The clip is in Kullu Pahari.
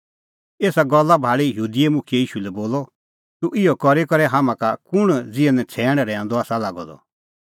एसा गल्ला भाल़ी यहूदी मुखियै ईशू लै बोलअ तूह इहअ करी करै हाम्हां का कुंण ज़िहै नछ़ैणां रहैऊंदअ आसा लागअ द